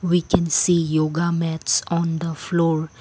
We can see yoga mats on the floor.